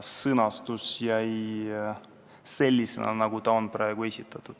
Sõnastus jäi selliseks, nagu see on praegu esitatud.